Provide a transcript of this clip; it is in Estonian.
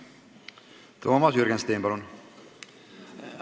Toomas Jürgenstein, palun!